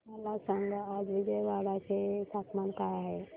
मला सांगा आज विजयवाडा चे तापमान काय आहे